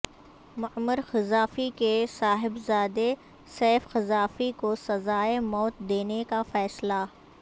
معمر قذافی کے صاحبزادے سیف قذافی کوسزائے موت دینے کا فیصلہ